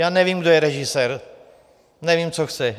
Já nevím, kdo je režisér, nevím, co chce.